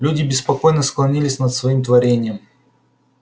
люди беспокойно склонились над своим творением